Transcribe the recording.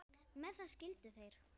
Með það skildu þeir.